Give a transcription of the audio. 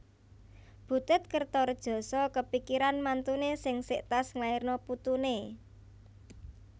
Butet Kertaredjasa kepikiran mantune sing sek tas ngelairno putune